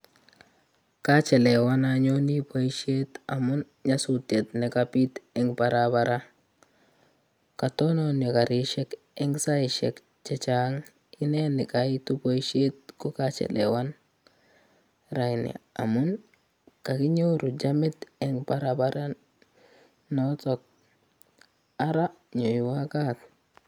Kachelewan anyone boishet amun nyasutyet nekabiit eng barabara katononyo Karishek eng saishek chechang ineni kaitu boishet kokachelewan raini amun kakinyoru chamit eng barabara to ara nyoiwo kaat